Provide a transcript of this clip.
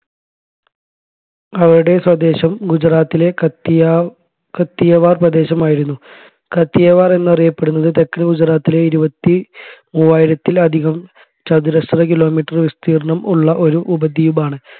അവരുടെ സ്വദേശം ഗുജറാത്തിലെ കത്തിയ കത്തിയവാർ പ്രദേശമായിരുന്നു കത്തിയവാർ എന്ന് അറിയപ്പെടുന്നത് തെക്കൻ ഗുജറാത്തിലെ ഇരുപത്തിമൂവായിരത്തിൽ അധികം കചതുരശ്ര kilometre വിസ്തീർണം ഉള്ള ഒരു ഉപദ്വീപാണ്‌